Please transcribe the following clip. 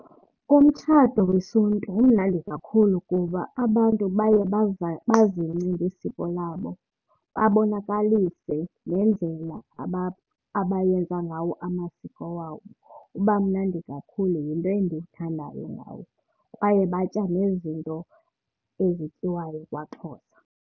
Umtshato wesiNtu umnandi kakhulu kuba abantu baye bazingce ngesiko labo, babonakalise nendlela abayenza ngawo amasiko wabo. Uba mnandi kakhulu, yinto endiyithandayo ngawo. Kwaye batya nezinto ezityiwayo kwaXhosa.